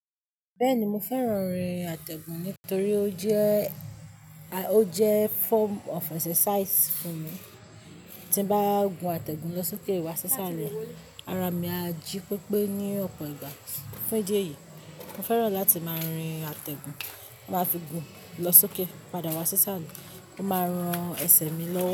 Bẹ́ẹ̀ni mo fẹ́ràn orin àtẹ̀gùn nítorí ó jẹ́, ó jẹ́ form of exercise fún mi. Tí bá gùn àtẹ̀gùn lọ sókè wá ṣíṣá rẹ ara mi á jí pépé ní ọ̀pọ̀ ìgbà. Ní díẹ̀ yìí mo fẹ́ràn láti máa rin àtẹ̀gùn. Máa fi gùn lọ sókè padà wá ṣíṣá rẹ, ó máa ran ẹsẹ̀ mi lọ́wọ́